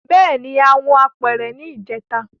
Bẹẹni a hun apere ni ijeta